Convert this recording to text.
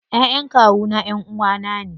Ƴaƴan kawuna ƴanʼuwa na ne.